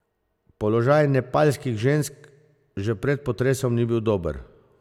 Položaj nepalskih žensk že pred potresom ni bil dober.